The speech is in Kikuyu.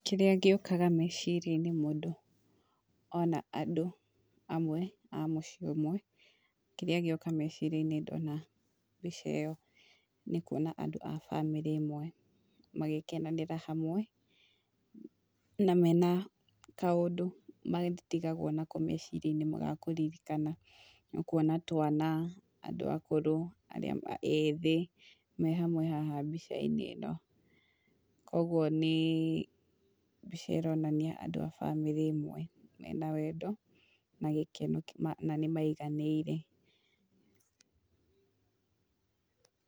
Kĩrĩa gĩũkaga meciria-inĩ mũndũ ona andũ amwe a mũciĩ ũmwe, kĩrĩa gĩoka meciria-inĩ ndona mbica ĩyo, nĩ kuona andũ a bamĩrĩ ĩmwe magĩkenanĩra hamwe, na mena kaũndũ matigagwo nako meciria-inĩ ga kũririkana, nĩ ũkwona twana, andũ akũrũ, arĩa ethĩ, me hamwe haha mbica-inĩ ĩno, koguo nĩ mbica ĩronania andũ a bamĩrĩ ĩmwe, mena wendo, na gĩkeno na nĩ maiganĩire.